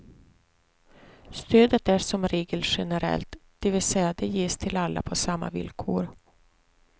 Stödet är som regel generellt, dvs det ges till alla på samma villkor.